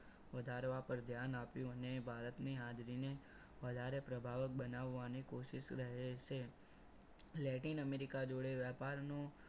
વધારવા પર ધ્યાન આપ્યું અને ભારતની હાજરીને વધારે પ્રભાવક બનાવવાની કોશિશ રહે છે લેટિન અમેરિકા જોડે વ્યાપારનો